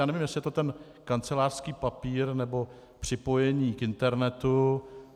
Já nevím, jestli je to ten kancelářský papír nebo připojení k internetu.